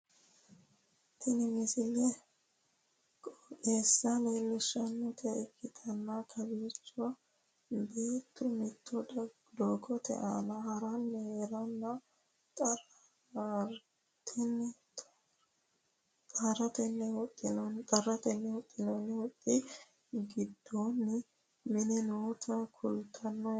tini misle qoxeessa leellishshannota ikkitanna kowiichono beettu mittu dogote aana haranni heereenna xarratenni huxxinoonni huxxxi giddoonni minna noota kultannote yaate